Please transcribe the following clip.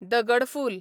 दगड फूल